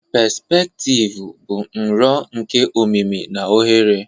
pespektivu bụ nro nke omimi na ohere